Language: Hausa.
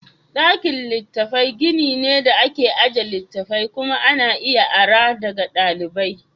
Ɗakin littatafai gini ne da ake ajiye littattafai kuma ana iya ara daga ɗalibai.